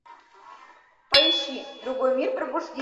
поищи другой мир пробуждение